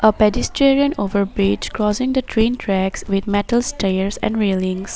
A pedestrian over bridge crossing the train tracks with metal stairs and railings